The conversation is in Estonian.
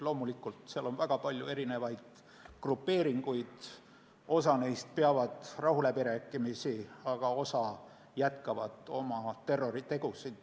Loomulikult seal on väga palju erinevaid grupeeringuid, osa neist peab rahuläbirääkimisi, aga osa jätkab oma terroritegusid.